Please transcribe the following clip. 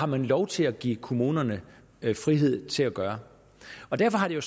man har lov til at give kommunerne frihed til at gøre derfor har det